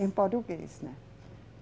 Em português, né?